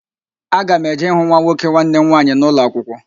Aga m eje ịhụ nwa nwoke nwanne m nwaanyị na ụlọakwụkwọ